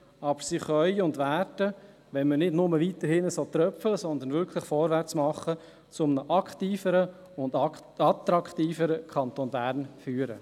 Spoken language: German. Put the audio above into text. Aber sie können und werden, wenn wir nicht nur weiterhin so tröpfchenweise, sondern wirklich vorwärtsmachen, zu einem aktiveren und attraktiveren Kanton Bern führen.